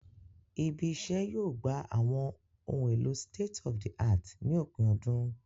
Ibí iṣẹ́ yóò gbà àwọn ohun èlò state-of-the-art ní òpin ọdún